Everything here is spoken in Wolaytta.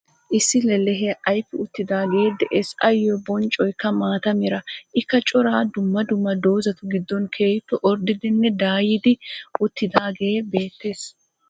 Issi lellehee ayfii uttidagee de'es. Ayyo bonccoykka maataa meraa. Ikka cora dummaa dummaa doozatu giddon keehippe ordiddinne daayyidi uttidagee beettees